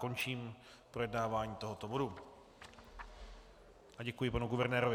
Končím projednávání tohoto bodu a děkuji panu guvernérovi.